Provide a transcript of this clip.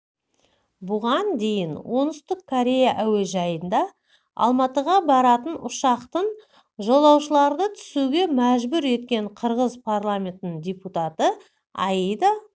бұған дейін оңтүстік корея әуежайында алматыға баратын ұшақтан жолаушыларды түсуге мәжүр еткен қырғыз парламентінің депутаты аида